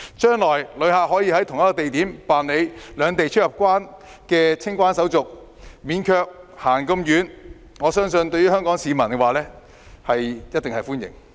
將來，旅客可以在同一地點辦理兩地出入境清關手續，無須走太多路，我相信香港市民一定會歡迎。